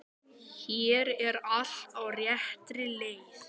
Hér er allt á réttri leið.